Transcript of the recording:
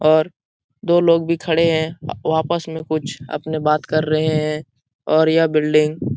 और दो लोग भी खड़े है अ वापस में कुछ अपने बात कर रहे हैं और यह बिल्डिंग --